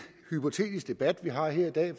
hypotetisk debat vi har i dag